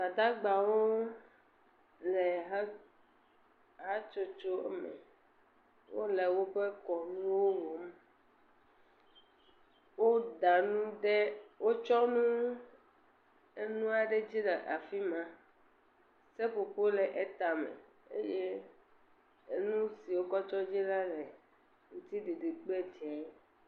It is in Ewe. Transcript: Gbadagbawo le hatsotso me, wole woƒe kɔnuwo wɔm, wo tsɔ nu enua ɖe dzi le afima, seƒoƒo le etame, eye enusi wo kɔ tsɔ dzi le aŋtiɖiɖi kple dzeŋ.